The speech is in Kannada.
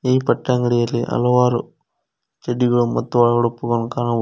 ಈ ಬಟ್ಟೆ ಅಂಗಡಿಯಲ್ಲಿ ಹಲವಾರು ಚಡ್ಡಿಗಳು ಮತ್ತು ಒಳಉಡುಪುಗಳನ್ನು ಕಾಣಬಹು --